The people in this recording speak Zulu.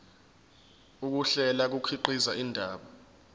ukuhlela kukhiqiza indaba